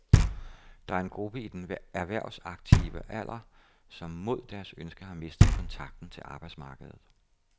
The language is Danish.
Der er en gruppe i den erhvervsaktive alder, som mod deres ønske har mistet kontakten til arbejdsmarkedet.